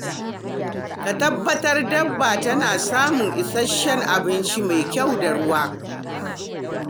Ka tabbatar dabba tana samun isasshen abinci mai kyau da ruwa.